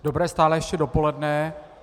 Dobré stále ještě dopoledne.